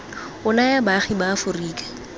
o naya baagi ba aforika